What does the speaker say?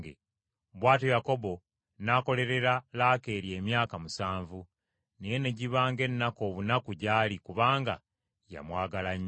Bw’atyo Yakobo n’akolerera Laakeeri emyaka musanvu, naye ne giba ng’ennaku obunaku gy’ali kubanga yamwagala nnyo.